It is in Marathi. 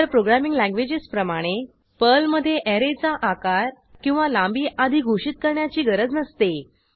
इतर प्रोग्रॅमिंग लँग्वेजेस प्रमाणे पर्लमधे ऍरेचा आकार किंवा लांबी आधी घोषित करण्याची गरज नसते